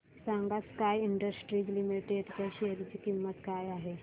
सांगा sky industries limited च्या share ची किंमत काय आहे